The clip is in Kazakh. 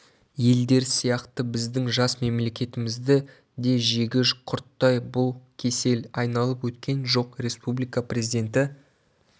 елдер сияқты біздің жас мемлекетімізді де жегі құрттай бұл кесел айналып өткен жоқ республика президенті